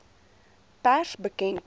pers bekend maak